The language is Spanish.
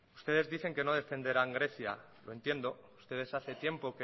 ustedes dicen que no defenderán grecia lo entiendo ustedes hace tiempo